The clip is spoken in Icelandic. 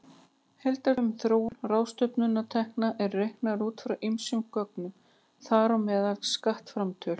Heildartölur um þróun ráðstöfunartekna eru reiknaðar út frá ýmsum gögnum, þar á meðal skattframtölum.